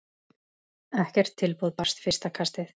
Ekkert tilboð barst fyrsta kastið.